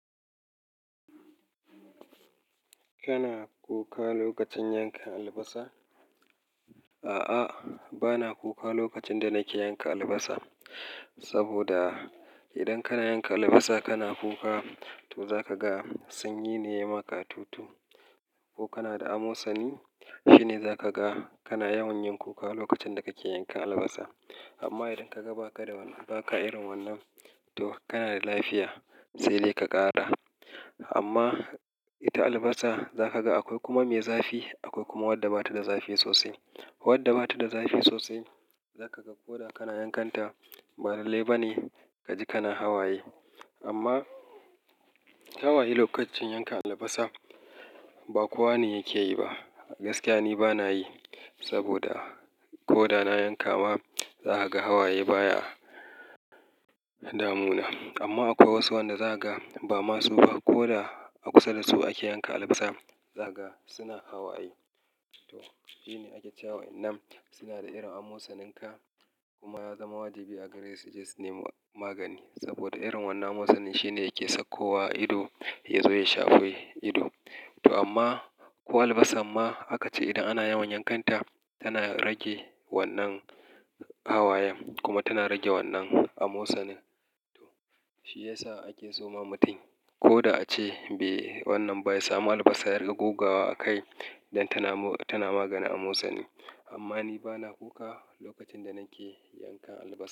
Kana kuka lokacin yankan albasa? A'a, bana kuka lokacin da nake yanka albasa. Saboda idan kana yanka albasa kana kuka, to za ka ga sanyi ne ya ma ka tutu. Ko kana da amosani, shi ne za ka ga kana yawan yin kuka lokacin da kake yanka albasa. Amma idan ka ga ba ka da irin wannan, to kana da lafiya, sai dai ka ƙara. Amma ita albasa za ka ga akwai kuma mai zafi, akwai kuma wadda ba ta da zafi sosai. Wadda ba ta da zafi sosai za ka ga ko da kana yankanta, ba dalilai bane ka ji kana hawaye. Amma hawaye lokacin yanka albasa ba kowa ne yake yi ba. Gaskiya ni bana yi saboda ko da na yanka ma, za ka ga hawaye baya damuna. Amma akwai wasu wanda za ka ga ba masu ba ko da a kusa da su ake yanka albasa, za ka ga suna hawaye. To shi ne ake cewa wannan suna da irin amosanin ka kuma ya zama wajibi a gare su suggest name magani. Saboda irin wannan amosani shi ne yake sakko wa ido ya zo ya shafe ido. To amma ko albasa ma aka ce idan ana yawan yankanta, tana rage wannan hawayen kuma tana rage wannan amosanin. To shi ya sa ake so ma mutum ko da a ce be wannan ba ya samu albasa, ya riƙa guga wa a kai idan tana magani amosani. Amma ni bana kuka lokacin da nake yankan albasa.